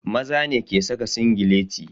Maza ne ke saka singileti.